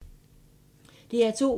DR2